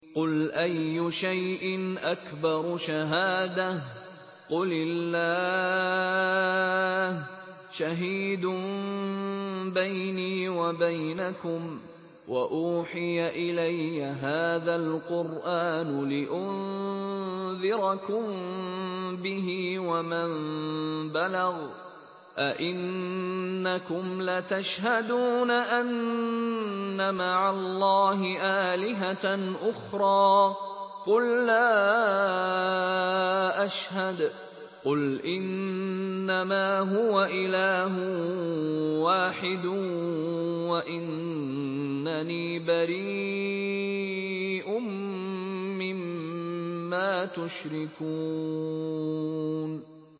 قُلْ أَيُّ شَيْءٍ أَكْبَرُ شَهَادَةً ۖ قُلِ اللَّهُ ۖ شَهِيدٌ بَيْنِي وَبَيْنَكُمْ ۚ وَأُوحِيَ إِلَيَّ هَٰذَا الْقُرْآنُ لِأُنذِرَكُم بِهِ وَمَن بَلَغَ ۚ أَئِنَّكُمْ لَتَشْهَدُونَ أَنَّ مَعَ اللَّهِ آلِهَةً أُخْرَىٰ ۚ قُل لَّا أَشْهَدُ ۚ قُلْ إِنَّمَا هُوَ إِلَٰهٌ وَاحِدٌ وَإِنَّنِي بَرِيءٌ مِّمَّا تُشْرِكُونَ